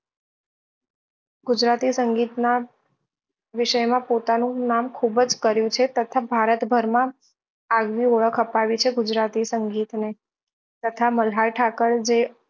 ગુજરાતી સંગીત ના વિષય માં પોતાનું નામ ખુબ જ કર્યું છે તથા ભારત ભર માં આવ્ગી ઓળખ અપાવી છે ગુજરાતી સંગીત ને તથા મલ્હાર ઠાકર એ જે